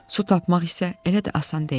Su tapmaq isə elə də asan deyildi.